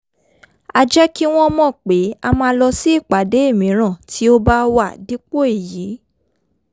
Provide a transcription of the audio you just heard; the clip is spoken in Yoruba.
a jẹ́ kí wọ́n mọ̀ pé a máa lọ sí ìpàdé míràn tí ó bá wá dípò èyí